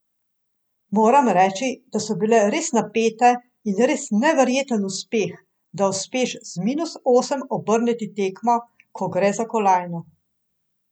Moram reči, da so bile res napete in res neverjeten uspeh, da uspeš z minus osem obrniti tekmo, ko gre za kolajno.